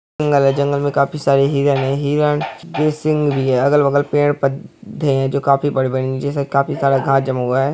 जंगल है जंगल में काफी सारे हिरन है हिरन भी सिंह भी है अगल-बगल पेड़ पत -त्ते है जो काफी बड़े-बड़े है नीचे से काफी सारा घास जमा हुआ है।